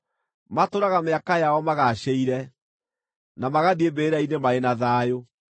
Matũũraga mĩaka yao magaacĩire, na magathiĩ mbĩrĩra-inĩ marĩ na thayũ.